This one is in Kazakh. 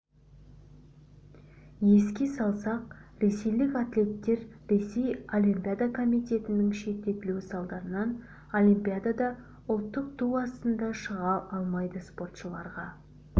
еске салсақ ресейлік атлеттер ресей олимпиада комитетінің шеттетілуі салдарынан олимпиадада ұлттық ту астында шыға алмайды спортшыларға